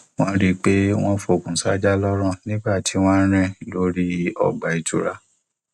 wọn rí i pé wọn fọkùn sájà lọrùn nígbà tí wọn ń rìn lórí ọgbà ìtura